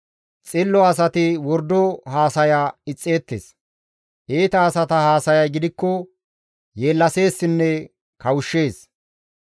Xillo asati wordo haasaya ixxeettes; iita asata haasayay gidikko yeellaseessinne kawushshees.